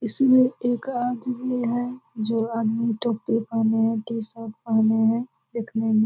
इसमें एक आदमी है जो आदमी टोपी पहने है टी-शर्ट पहने है देखने में --